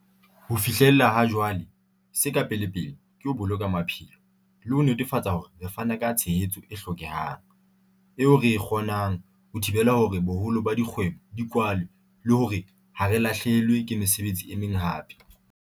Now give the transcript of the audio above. Ho fihlela ha jwale, se ka pelepele ke ho boloka maphelo, le ho netefatsa hore re fana ka tshehetso e hlokehang, eo re e kgonang, ho thibela hore boholo ba dikgwebo di kwalwe le hore ha re lahlehelwe ke mesebetsi e meng hape.